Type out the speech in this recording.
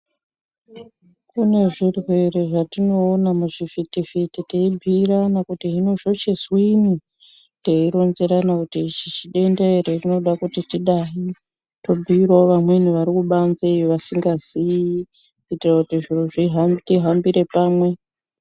Kune zvirwerwe zvatinoona muzvivhiti vhiti teibhiirana kuti zvinochizwini teironzerana kuti denda iri rinoda kuti tidai tobhiirawo vamweni vari kubanze iyo vasingazii kuitira kuti zviro zviha tihambire pamwe.